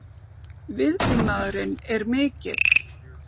Viðbúnaðurinn er mikill